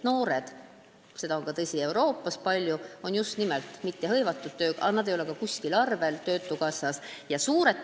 Tõsi, seda on ka mujal Euroopas palju, et noored ei ole tööga hõivatud ega ka mitte töötukassas arvel.